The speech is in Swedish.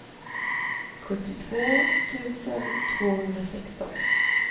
sjuttiotvå tusen tvåhundrasexton